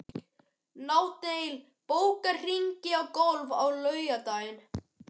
Nataníel, bókaðu hring í golf á laugardaginn.